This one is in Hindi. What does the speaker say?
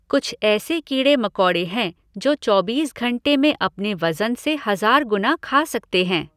कुछ ऐसे कीड़े मकोड़े हैं जो चौबीस घंटे में अपने वजन से हज़ार गुना खा सकते हैं।